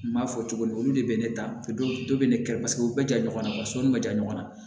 N m'a fɔ cogo min olu de bɛ ne ta dɔ bɛ ne kɛlɛ paseke u bɛ ja ɲɔgɔnna wa sɔɔni bɛ ja ɲɔgɔnna